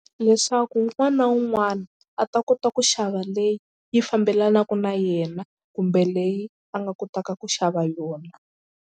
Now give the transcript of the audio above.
Leswaku un'wana na un'wana a ta kota ku xava leyi yi fambelanaka na yena kumbe leyi a nga kotaka ku xava yona.